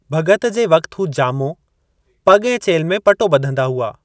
भग॒ति जे वक़्ति हू ॼामो, पग॒ ऐं चेल्हि में पटो बं॒धदा हुआ।